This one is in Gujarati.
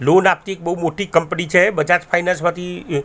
લોન આપતી એક બહુ મોટી કંપની છે બજાજ ફાઇનેન્સ માંથી અ--